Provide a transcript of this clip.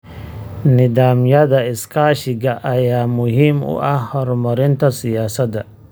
Nidaamyada iskaashiga ayaa muhiim u ah horumarinta siyaasadda.